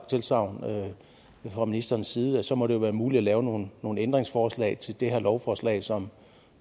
tilsagn fra ministerens side og så må det jo være muligt at lave nogle ændringsforslag til det her lovforslag som